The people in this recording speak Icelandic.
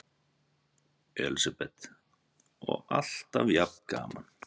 Elísabet: Og alltaf jafn gaman?